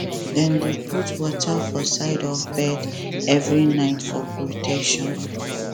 dem dey put water for side of bed every night for protection